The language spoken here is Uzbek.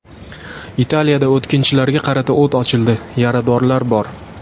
Italiyada o‘tkinchilarga qarata o‘t ochildi, yaradorlar bor.